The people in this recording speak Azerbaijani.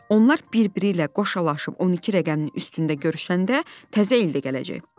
Onlar bir-biri ilə qoşalaşıb 12 rəqəminin üstündə görüşəndə təzə il də gələcek."